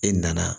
E nana